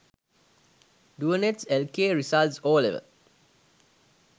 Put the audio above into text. doenets lk result ol